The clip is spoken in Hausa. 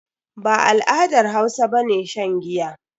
Ba al'adar Hausa bane shan giya.